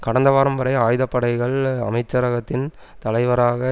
கடந்த வாரம் வரை ஆயுத படைகள் அமைச்சரகத்தின் தலைவராக